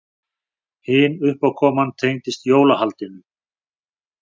Hin uppákoman tengdist jólahaldinu.